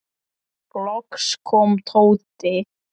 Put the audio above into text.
Loks kom Tóti.